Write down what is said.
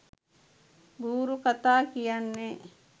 බූරු කතා කියන්නෙ.